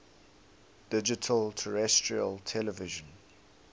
digital terrestrial television